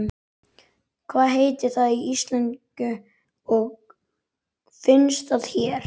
Hvað heitir það á íslensku og finnst það hér?